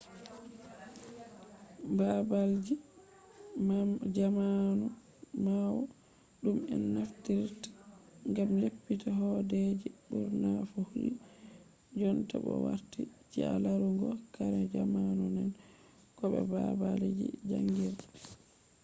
baabalji jamanu ɓawo ɗum en naftiritta ngam leppita hooɗeeji ɓurna fu hiɗi jonta bo warti ci'a larugo kare jamanu nane ko bo baabalji jaangirde